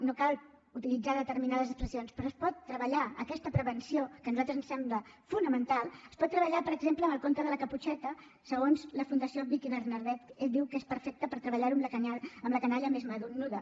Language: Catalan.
no cal utilitzar determinades expressions però es pot treballar aquesta prevenció que a nosaltres ens sembla fonamental es pot treballar per exemple amb el conte de la caputxeta segons la fundació vicki bernadet diu que és perfecte per treballar ho amb la canalla més menuda